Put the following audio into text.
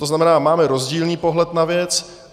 To znamená, máme rozdílný pohled na věc.